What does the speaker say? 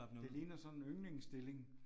Det det ligner sådan en yndlingsstilling